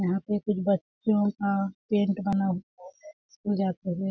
यहाँ पे कुछ बच्चियों का पेन्ट बना हुआ है स्कूल जाते हुए--